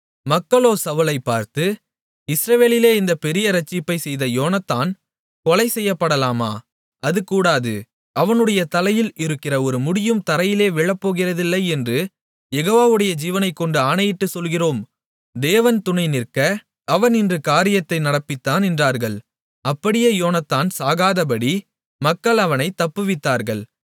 மக்களோ சவுலை பார்த்து இஸ்ரவேலிலே இந்தப் பெரிய இரட்சிப்பைச் செய்த யோனத்தான் கொலை செய்யப்படலாமா அது கூடாது அவனுடைய தலையில் இருக்கிற ஒரு முடியும் தரையிலே விழப்போகிறதில்லை என்று யெகோவாவுடைய ஜீவனைக்கொண்டு ஆணையிட்டுச் சொல்லுகிறோம் தேவன் துணை நிற்க அவன் இன்று காரியத்தை நடப்பித்தான் என்றார்கள் அப்படியே யோனத்தான் சாகாதபடி மக்கள் அவனைத் தப்புவித்தார்கள்